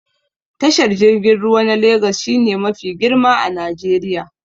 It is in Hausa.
Tashar jirgin ruwa na Legas shi ne mafi girma a Najeriya